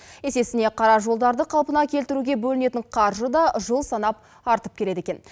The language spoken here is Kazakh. есесіне қара жолдарды қалпына келтіруге бөлінетін қаржы да жыл санап артып келеді екен